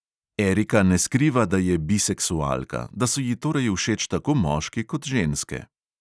Erika ne skriva, da je biseksualka, da so ji torej všeč tako moški kot ženske.